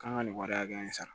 K'an ka nin wari hakɛya in sara